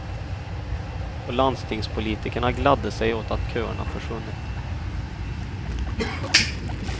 Och landstingspolitikerna gladde sig åt att köerna försvunnit.